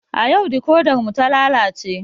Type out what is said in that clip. A yau dikodar mu ta lalace